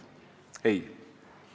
Ei!